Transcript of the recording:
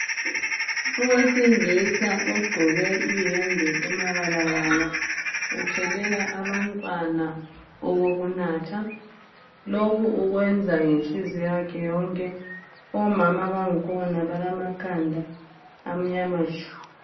Owesilisa ogqoke iyembe emabalabala uthelela abantwana okokunatha. Lokhu ukwenza ngenhliziyo yakhe yonke. Omama bangkhona balamakhanda amnyama tshu.